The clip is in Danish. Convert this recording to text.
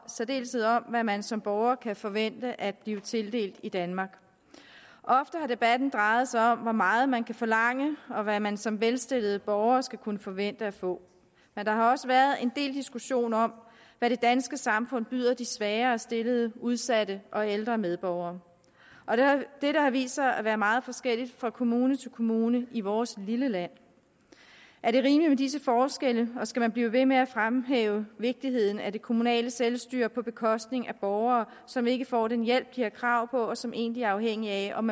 særdeleshed om hvad man som borger kan forvente at blive tildelt i danmark ofte har debatten drejet sig om hvor meget man kan forlange og hvad man som velstillet borger skal kunne forvente at få der har også været en del diskussion om hvad det danske samfund byder de svagere stillede udsatte og ældre medborgere det har vist sig at være meget forskelligt fra kommune til kommune i vores lille land er det rimeligt med disse forskelle og skal man blive ved med at fremhæve vigtigheden af det kommunale selvstyre på bekostning af borgere som ikke får den hjælp de har krav på og som egentlig er afhængige af om